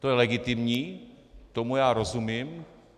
To je legitimní, tomu já rozumím.